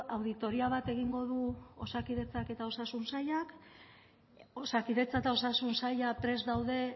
auditoría bat egingo du osakidetzak eta osasun sailak osakidetza eta osasun saila prest daude